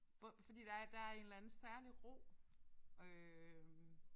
Både fordi der er der er en eller anden særlig ro øh